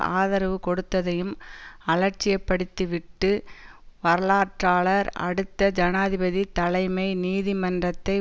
ஆதரவு கொடுத்ததையும் அலட்சியப்படுத்திவிட்டு வரலாற்றாளர் அடுத்த ஜனாதிபதி தலைமை நீதிமன்றத்தை